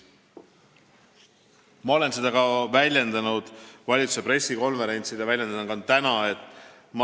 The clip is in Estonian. Ma olen seda öelnud valitsuse pressikonverentsil ja ütlen ka täna.